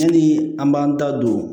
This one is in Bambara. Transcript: Ni an b'an da don